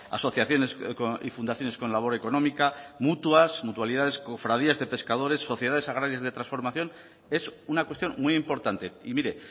asociaciones y fundaciones con labor económica mutuas mutualidades cofradías de pescadores sociedades agrarias de transformación es una cuestión muy importante y mire